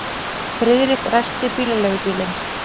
Friðrik ræsti bílaleigubílinn.